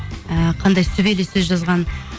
і қандай сүбелес сөз жазған